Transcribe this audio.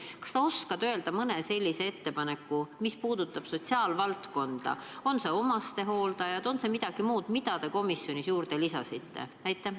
Kas sa oskad öelda mõne sellise ettepaneku, mis puudutab sotsiaalvaldkonda, on see siis omastehooldajate kohta või on see midagi muud, mida te komisjonis juurde lisasite?